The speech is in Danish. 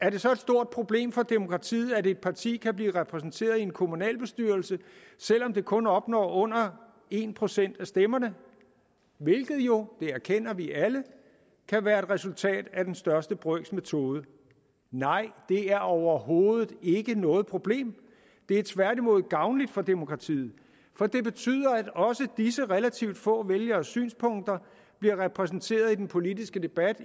er det så et stort problem for demokratiet at et parti kan blive repræsenteret i en kommunalbestyrelse selv om det kun opnår under en procent af stemmerne hvilket jo det erkender vi alle kan være et resultat af den største brøks metode nej det er overhovedet ikke noget problem det er tværtimod gavnligt for demokratiet for det betyder at også disse relativt få vælgeres synspunkter bliver repræsenteret i den politiske debat i